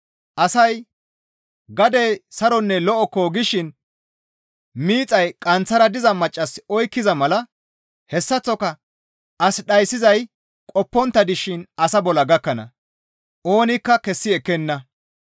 Asay, «Gadey saronne lo7okko» gishin miixay qanththara diza maccas oykkiza mala hessaththoka as dhayssizay qoppontta dishin asa bolla gakkana; oonikka kessi ekkenna.